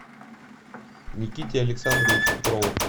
никите александровичу петрову